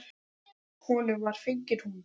Honum var fengin hún.